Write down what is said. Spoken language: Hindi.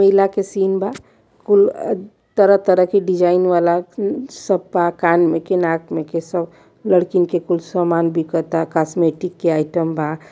मेला के सीन बा। कुल तरह तरह के डिजाइन वाला सब पा कान में के नाक में के सब लड़किन के कुल सामान बिकता कॉस्मेटिक के आइटम बा।